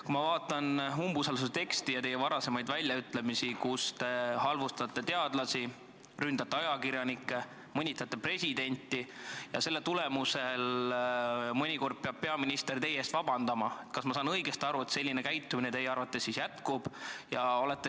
Kui ma vaatan umbusaldusavalduse teksti ja teie varasemaid väljaütlemisi, millega te halvustate teadlasi, ründate ajakirjanikke ja mõnitate presidenti, nii et mõnikord on peaminister pidanud teie eest vabandama, kas ma saan siis õigesti aru, et selline käitumine teie arvates jätkub?